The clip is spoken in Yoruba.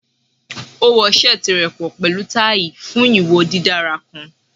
O wo seeti rẹ pọ pẹlu tai fun iwo didara kan